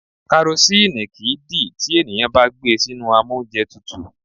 Karosíìnì kìí dì tí ènìyàn bá gbé e sínú amóúnjẹtutù.